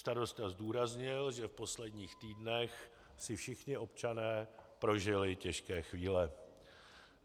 Starosta zdůraznil, že v posledních týdnech si všichni občané prožili těžké chvíle.